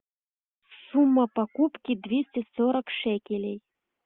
сумма покупки двести сорок шекелей